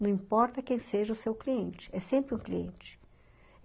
Não importa quem seja o seu cliente, é sempre um cliente.